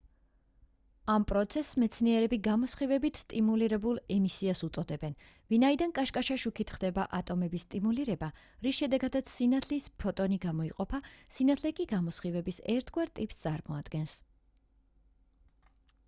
ამ პროცესს მეცნიერები გამოსხივებით სტიმულირებულ ემისიას უწოდებენ ვინაიდან კაშკაშა შუქით ხდება ატომების სტიმულირება რის შედეგადაც სინათლის ფოტონი გამოიყოფა სინათლე კი გამოსხივების ერთგვარ ტიპს წარმოადგენს